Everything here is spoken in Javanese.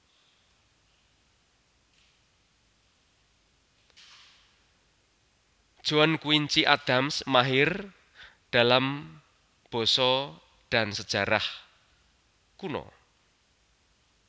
John Quincy Adams mahir dalam basa dan sejarah kuno